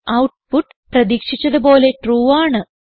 output പ്രതീക്ഷിച്ചത് പോലെ true ആണ്